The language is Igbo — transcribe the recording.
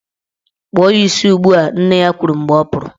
Kpụọ ya isi ugbua! Nne ya kwuru mgbe ọ pụrụ.